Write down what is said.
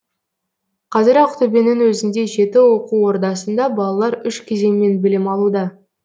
қазір ақтөбенің өзінде жеті оқу ордасында балалар үш кезеңмен білім алуда